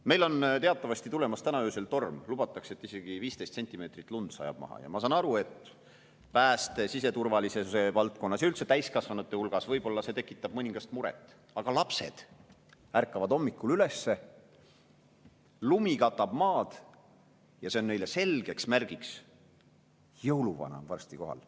Meil on teatavasti tulemas täna öösel torm, lubatakse, et isegi 15 sentimeetrit lund sajab maha, ja ma saan aru, et pääste‑ ja siseturvalisuse valdkonnas ning üldse täiskasvanute hulgas see võib-olla tekitab mõningast muret, aga lapsed ärkavad hommikul üles, lumi katab maad ja see on neile selgeks märgiks, et jõuluvana on varsti kohal.